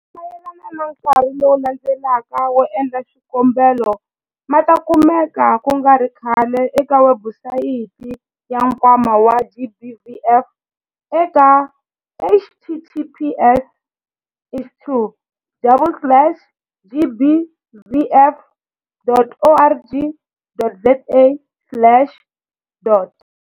Mahungu mayelana na nkarhi lowu landzelaka wo endla swikombelo ma ta kumeka ku nga ri khale eka webusayiti ya Nkwama wa GBVF eka- https wdouble slash gbvf.org.za slash dot.